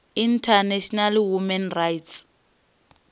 international human rights